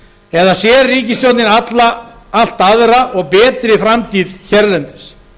eða sér ríkisstjórnin allt aðra og betri framtíð hérlendis